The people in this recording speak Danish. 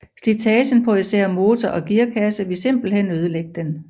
Slitagen på især motor og gearkasse ville simpelthen ødelægge den